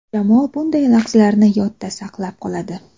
Jamoa bunday lahzalarni yodda saqlab qoladi.